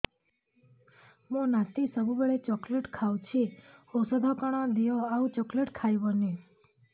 ମୋ ନାତି ସବୁବେଳେ ଚକଲେଟ ଖାଉଛି ଔଷଧ କଣ ଦିଅ ଆଉ ଚକଲେଟ ଖାଇବନି